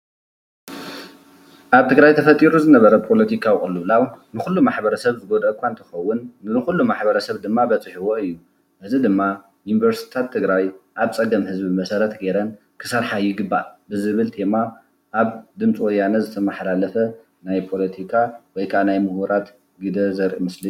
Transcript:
ኣብ ትግራይ ተፈጢሩ ዝነበረ ፖለትካዊ ቁልውላው ንኩሉ ማ/ሕ ሰብ ዝጎድኦ እካ እንትከውን ንኩሉ ማ/ሕ ሰብ ድማ በፅሕዎ እዩ እዚ ድማ ዩንቨርስቲ ትግራይ ኣብ ፀገም ህዘቢ መሰረት ገይረ ክሰርሓ ይግባእ ብዝብል ቴማ ኣብ ድምፂ ወያነ ዝተማሓላለፈ ናይ ፖለትካ ውይ ከዓ ድማ ናይ ሙሁራት ግደ ዘርእ ምስሊ እዩ።